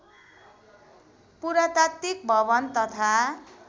पुरातात्विक भवन तथा